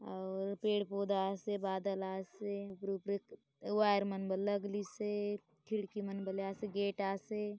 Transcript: और पेड़-पौधा आसे बादल आसे खिड़की मन बले आसे गेट आसे।